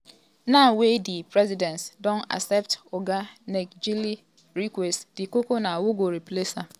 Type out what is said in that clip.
now wey di presidency don accept oga ngelale request di koko na who go replace am.